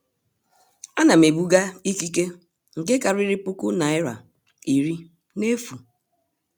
a na m ebuga ìkíke nke kariri puku naira irí n'efu.